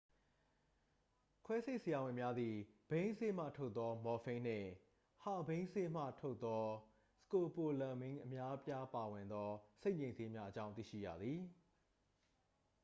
ခွဲစိတ်ဆရာဝန်များသည် ဘိန်းစေ့မှထုတ်သော မော်ဖိန်းနှင့် ဟာဘိန်းစေ့မှထုတ်သော စကိုပိုလမင်း အပါအဝင် များစွာသော စိတ်ငြိမ်ဆေးများအကြောင်း သိရှိကြသည်